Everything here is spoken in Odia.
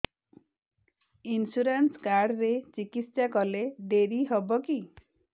ଇନ୍ସୁରାନ୍ସ କାର୍ଡ ରେ ଚିକିତ୍ସା କଲେ ଡେରି ହବକି